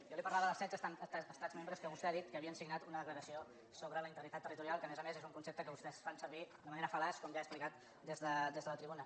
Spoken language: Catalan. jo li parlava dels setze estats membres que vostè ha dit que havien signat una declaració sobre la integritat territorial que a més a més és un concepte que vostès fan servir de manera fal·laç com ja he explicat des de la tribuna